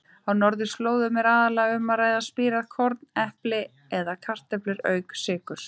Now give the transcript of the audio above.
Á norðurslóðum er aðallega um að ræða spírað korn, epli eða kartöflur auk sykurs.